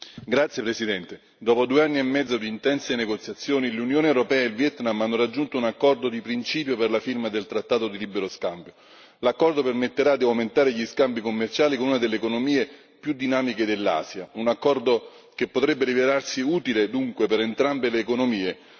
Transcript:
Signora Presidente, onorevoli colleghi, dopo due anni e mezzo di intense negoziazioni, l'Unione europea e il Vietnam, hanno raggiunto un accordo di principio per la firma del trattato di libero scambio. L'accordo permetterà di aumentare gli scambi commerciali con una delle economie più dinamiche dell'Asia un accordo che potrebbe rivelarsi utile, dunque, per entrambe le economie.